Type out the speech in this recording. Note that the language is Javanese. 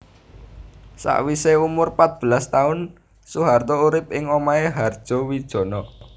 Sawisé umur pat belas taun Soeharto urip ing omahé Hardjowijono